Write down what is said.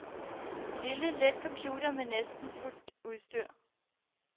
Lille, let computer med næsten fuldt udstyr.